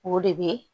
O de bɛ